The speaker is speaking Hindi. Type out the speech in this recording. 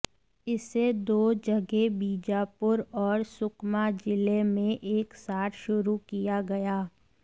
इसे दो जगह बीजापुर और सुकमा जिले में एक साथ शुरू किया गया